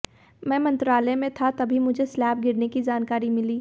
मैं मंत्रालय में था तभी मुझे स्लैब गिरने की जानकारी मिली